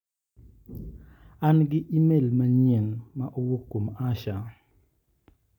An gi imel manyien ma owuok kuom Asha.